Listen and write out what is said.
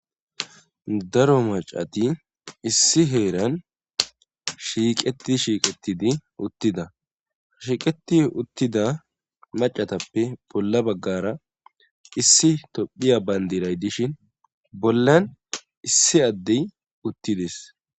Daro macati issi heeran shiiqeti shiiqetidi uttida shiqeti uttida macatappe bolla baggara issi tophiya bandiray dishin bollan issi addey uttides